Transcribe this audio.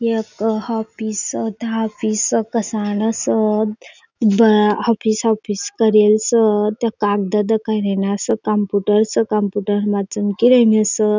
एक office office कसा ना स बर ऑफिस ऑफिस करेल स कागद त कई रयेन स कम्प्युटर स कम्प्युटर मा चमकी रई स.